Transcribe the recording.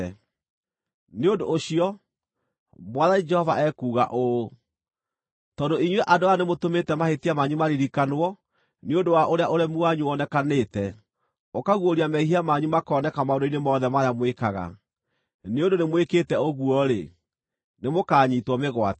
“Nĩ ũndũ ũcio, Mwathani Jehova ekuuga ũũ: ‘Tondũ inyuĩ andũ aya nĩmũtũmĩte mahĩtia manyu maririkanwo nĩ ũndũ wa ũrĩa ũremi wanyu wonekanĩte, ũkaguũria mehia manyu makoneka maũndũ-inĩ mothe marĩa mwĩkaga; nĩ ũndũ nĩmwĩkĩte ũguo-rĩ, nĩmũkanyiitwo mĩgwate.